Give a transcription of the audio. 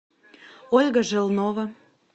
ольга желнова